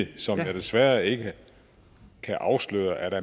som han desværre ikke kan afsløre